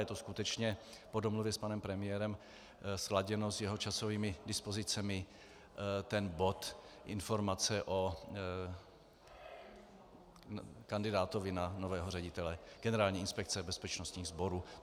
Je to skutečně po domluvě s panem premiérem, sladěno s jeho časovými dispozicemi - bod Informace o kandidátovi na nového ředitele Generální inspekce bezpečnostních sborů.